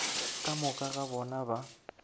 ka moka ga bona ba